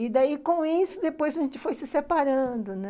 E daí, com isso, depois a gente foi se separando, né?